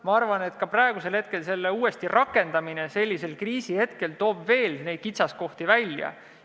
Ma arvan, et ka praegu selle uuesti rakendamine sellisel kriisihetkel toob veel kitsaskohti välja.